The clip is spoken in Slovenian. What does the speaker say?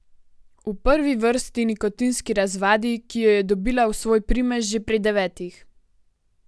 V prvi vrsti nikotinski razvadi, ki jo je dobila v svoj primež že pri devetih.